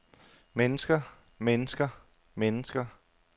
mennesker mennesker mennesker